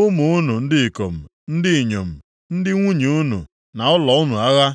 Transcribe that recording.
ụmụ unu ndị ikom ndị inyom, ndị nwunye unu na ụlọ unu agha.”